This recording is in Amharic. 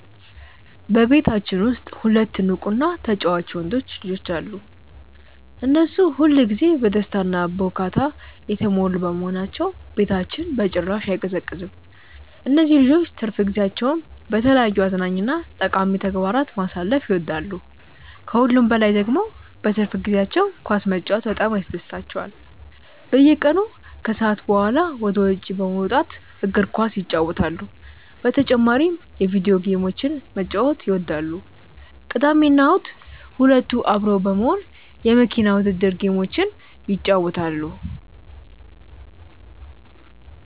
በቤታችን ውስጥ ሁለት ንቁ እና ተጫዋች ወንዶች ልጆች አሉ። እነሱ ሁል ጊዜ በደስታ እና በሁካታ የተሞሉ በመሆናቸው ቤታችን በጭራሽ አይቀዘቅዝም። እነዚህ ልጆች ትርፍ ጊዜያቸውን በተለያዩ አዝናኝ እና ጠቃሚ ተግባራት ማሳለፍ ይወዳሉ። ከሁሉም በላይ ደግሞ በትርፍ ጊዜያቸው ኳስ መጫወት በጣም ያስደስታቸዋል። በየቀኑ ከሰዓት በኋላ ወደ ውጭ በመውጣት እግር ኳስ ይጫወታሉ። በተጨማሪም የቪዲዮ ጌሞችን መጫወት ይወዳሉ። ቅዳሜና እሁድ ሁለቱ አብረው በመሆን የመኪና ውድድር ጌሞችን ይጫወታሉ።